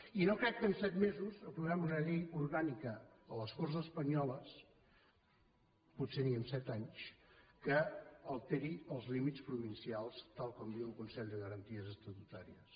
i no crec que en set mesos aprovem una llei orgànica a les corts espanyoles potser ni en set anys que alteri els límits provincials tal com diu el consell de garanties estatutàries